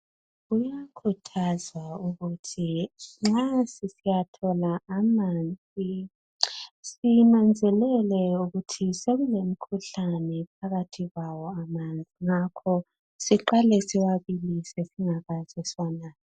Kuyakhuthazwa ukuthi nxa sisiyathola amanzi sinanzelele ukuthi sekulemikhuhlane phakathi kwawo amanzi ngakho siqale siwabukise singakaze siwanathe.